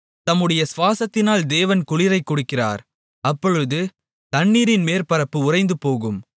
தம்முடைய சுவாசத்தினால் தேவன் குளிரைக் கொடுக்கிறார் அப்பொழுது தண்ணீரின் மேற்பரப்பு உறைந்துபோகும்